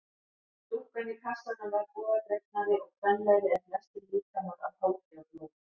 Dúkkan í kassanum var bogadregnari og kvenlegri en flestir líkamar af holdi og blóði.